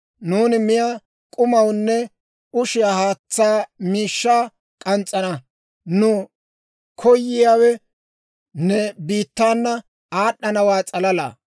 Nuuni miyaa k'umawunne ushiyaa haatsaw miishshaa k'ans's'ana. Nu koyiyaawe ne biittaana aad'd'anawaa s'alalaa.